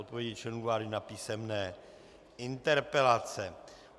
Odpovědi členů vlády na písemné interpelace